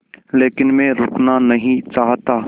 लेकिन मैं रुकना नहीं चाहता